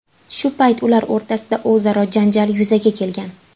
Shu payt ular o‘rtasida o‘zaro janjal yuzaga kelgan.